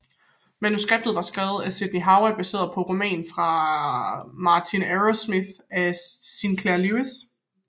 Manuskriptet var skrevet af Sidney Howard baseret på romanen Martin Arrowsmith af Sinclair Lewis